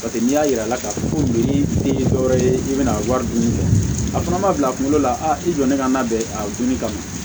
Paseke n'i y'a yir'a la k'a fɔ ko nin tɛ dɔwɛrɛ ye i bɛna wari dunni kɛ a fana ma bila kunkolo la a i donnen ka labɛn a dunni kama